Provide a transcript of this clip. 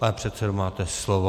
Pane předsedo, máte slovo.